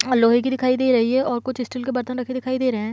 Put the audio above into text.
अ लोहे की दिखाई दे रही और कुछ स्टील के बर्तन रखे दिखाई दे रहे हैं।